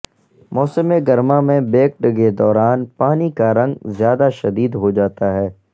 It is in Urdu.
موسم گرما میں بیکڈ کے دوران پانی کا رنگ زیادہ شدید ہو جاتا ہے